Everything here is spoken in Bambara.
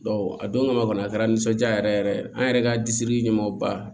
a don kama kɔni a kɛra nisɔndiya yɛrɛ yɛrɛ an yɛrɛ ka disiri ɲɛmaaba